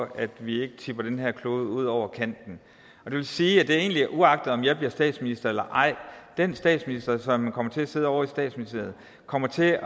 at vi ikke tipper den her klode ud over kanten og det vil sige at det egentlig er uagtet om jeg bliver statsminister eller ej den statsminister som kommer til at sidde ovre i statsministeriet kommer til at